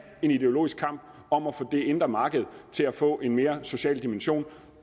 en ideologisk kamp om kan få det indre marked til at få en mere social dimension